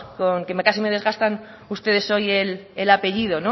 que casi me desgastan ustedes hoy el apellido